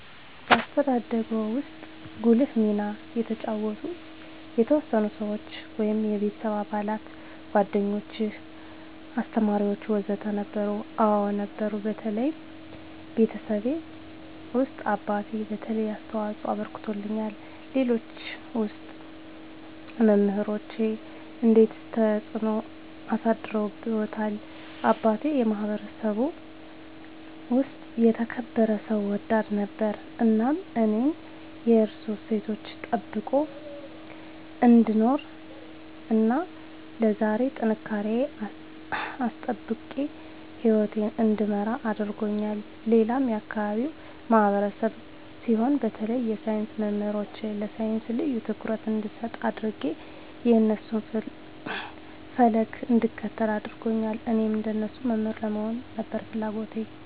በአስተዳደግዎ ውስጥ ጉልህ ሚና የተጫወቱ የተወሰኑ ሰዎች (የቤተሰብ አባላት፣ ጓደኞች፣ አስተማሪዎች ወዘተ) ነበሩ? አዎ ነበሩ በተለይ ቤተሰቤ ውስጥ አባቴ የተለየ አስተዋፅኦ አበርክቶልኛል ሌሎች ውስጥ መምራኖቼ እንዴትስ ተጽዕኖ አሳድረውብዎታል አባቴ የማህበረሰቡ ውስጥ የተከበረ ሰው ወዳድ ነበር እናም እኔም የእሱን እሴቶች ጠብቄ እንድኖር እና ለዛሬ ጥንካሬየን አስጠብቄ ህይወቴን እንድመራ አድርጎኛል ሌላም የአካባቢው ማህበረሰብ ሲሆን በተለይ የሳይንስ መምህሮቼ ለሳይንስ ልዬ ትኩረት እንድሰጥ አድጌ የእነሱን ፈለግ እንድከተል አድርገዋል እኔም እንደነሱ መምህር ለመሆን ነበር ፍለጎቴ